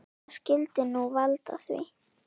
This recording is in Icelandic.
Hvað skyldi nú valda því?